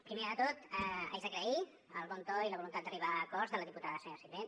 primer de tot haig d’agrair el bon to i la voluntat d’arribar a acords de la diputada senyora sirvent